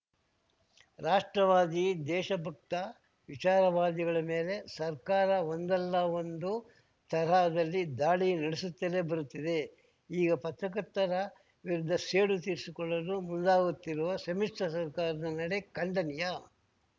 ರಾಷ್ಟ್ರವಾದಿ ದೇಶಭಕ್ತ ವಿಚಾರವಾದಿಗಳ ಮೇಲೆ ಸರ್ಕಾರ ಒಂದಲ್ಲ ಒಂದು ತರಹದಲ್ಲಿ ದಾಳಿ ನಡೆಸುತ್ತಲೇ ಬರುತ್ತಿದೆ ಈಗ ಪತ್ರಕರ್ತರ ವಿರುದ್ಧ ಸೇಡು ತಿರಿಸಿಕೊಳ್ಳಲು ಮುಂದಾಗುತ್ತಿರುವ ಸಮ್ಮಿಶ್ರ ಸರ್ಕಾರದ ನಡೆ ಖಂಡನೀಯ